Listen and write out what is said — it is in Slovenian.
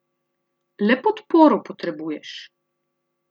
Le podporo potrebuješ.